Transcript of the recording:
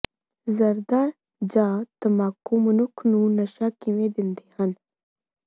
ਜ਼ਰਦਾ ਜਾਂ ਤੰਬਾਕੁ ਮਨੁੱਖ ਨੂੰ ਨਸ਼ਾ ਕਿਵੇਂ ਦਿੰਦੇ ਹਨ